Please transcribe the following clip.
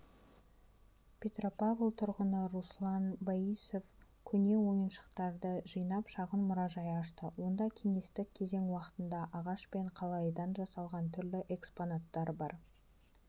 петропавл тұрғыны руслан боисов көне ойыншықтарды жинап шағын мұражай ашты онда кеңестік кезең уақытында ағаш пен қалайыдан жасалған түрлі экспонаттар бар